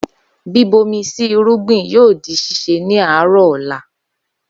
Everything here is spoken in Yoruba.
Bíbomi sí irúgbìn yóò di ṣíse ni àárọ́ọ̀ ọ̀la.